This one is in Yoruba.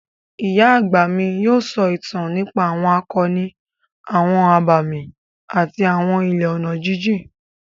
Ìyá àgbà mi yóò sọ ìtàn nípa àwọn akọni, àwọn abàmì àti àwọn ilẹ̀ ọ̀nà jíjìn.